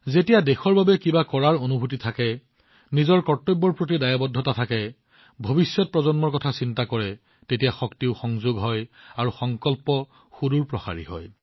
যেতিয়া দেশৰ বাবে কিবা এটা কৰাৰ অনুভূতি থাকে আপোনাৰ কৰ্তব্যৰ প্ৰতি উপলব্ধি থাকে আগন্তুক প্ৰজন্মৰ বিষয়ে চিন্তা কৰে তেতিয়া শক্তিও সংযোগ হয় আৰু সংকল্পও পবিত্ৰ হৈ পৰে